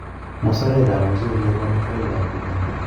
musarekap mchelek ko amitwogikap koimen